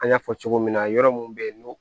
An y'a fɔ cogo min na yɔrɔ mun be yen n'o